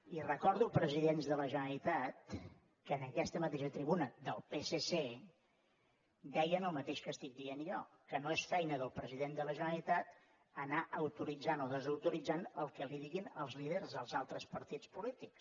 i recordo presidents de la generalitat que en aquesta mateixa tribuna del psc deien el mateix que estic dient jo que no és feina del president de la generalitat anar autoritzant o desautoritzant el que li diguin els líders dels altres partits polítics